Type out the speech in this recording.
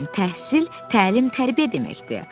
Elm, təhsil, təlim, tərbiyə deməkdir.